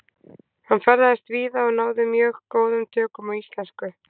Hann ferðaðist víða og náði mjög góðum tökum á íslensku.